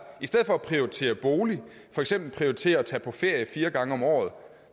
i stedet for at prioritere bolig for eksempel prioriterer at tage på ferie fire gange om året